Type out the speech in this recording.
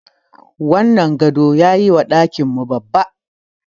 Wannan gado yayi wa ɗakin mu babba.